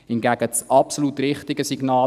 Hingegen ist das absolut richtige Signal: